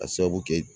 A sababu kɛ